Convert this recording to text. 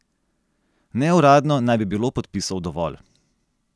Neuradno naj bi bilo podpisov dovolj.